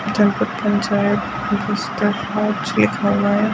जनपद पंचायत वास्तानार लिखा हुआ है।